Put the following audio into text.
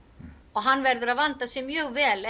og hann verður að vanda sig mjög vel